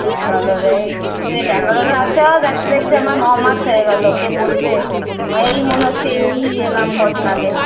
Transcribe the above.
Banglore এ সেই Bangalore এ আসা দেখতে দেখতে আমার নমাস হয়ে গেলো কে বলবে? আমার এই মনে হচ্ছে এই এলাম কদিন আগে